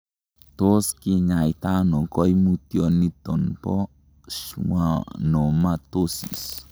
Tot kinyaita ono koimutyioniton bo schwannomatosis?